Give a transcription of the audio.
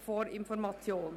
Zu Ziffer 1